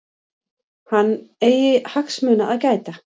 Hann eigi hagsmuni að gæta.